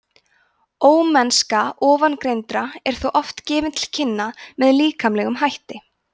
ómennska ofangreindra er þó oft gefin til kynna með líkamlegum hætti